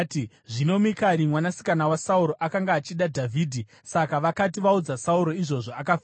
Zvino Mikari mwanasikana waSauro akanga achida Dhavhidhi, saka vakati vaudza Sauro izvozvo, akafara.